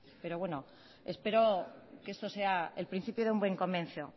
pero bueno espero que esto sea el principio de un buen comienzo